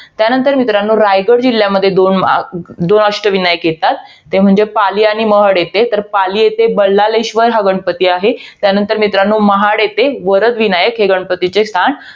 त्यानंतर मित्रांनो, रायगड जिल्ह्यामध्ये दोन वा~ दोन अष्टविनायक येतात. ते म्हणजे, पाली आणि महड येथे. तर पाली येथे, बल्लाळेश्वर हा गणपती आहे. त्यानंतर मित्रांनो, महाड येथे वरदविनायक हे गणपतीचे स्थान